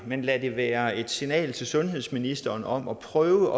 men lad det være et signal til sundhedsministeren om at prøve